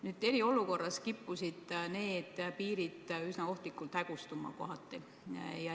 Nüüd, eriolukorras kippusid need piirid kohati üsna ohtlikult hägustuma.